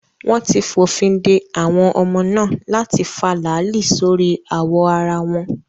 Wọ́n ti fòfin de àwọn ọmọ náà láti fa láàlì sórí awọ ara wọn.